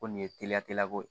Ko nin ye teliya tele ko ye